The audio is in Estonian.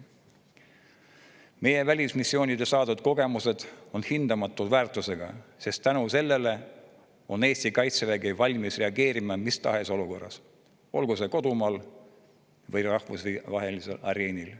Meie välismissioonidel saadud kogemused on hindamatu väärtusega, sest tänu sellele on Eesti kaitsevägi valmis reageerima mis tahes olukorras, olgu see kodumaal või rahvusvahelisel areenil.